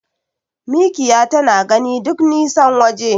Mikiya tana gani duk nisan waje.